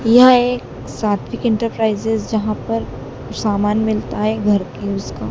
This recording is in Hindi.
यह एक सात्विक एंटरप्राइजेज जहां पर सामान मिलता है घर की उसका--